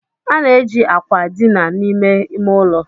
A na-eji akwa dina n'ime ime ụlọ.